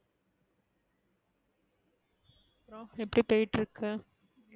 எப்டி போய்ட்டு இருக்கு.